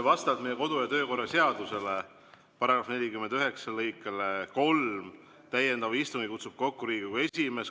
Vastavalt meie kodu- ja töökorra seaduse § 49 lõikele 3 kutsub täiendava istungi kokku Riigikogu esimees.